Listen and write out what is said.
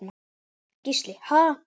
Gísli: Ha?